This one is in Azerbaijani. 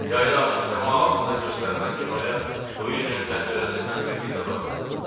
Yayda açıq səma altında göstərilən kinoya Luicinin pəncərəsindən birlikdə baxırdıq.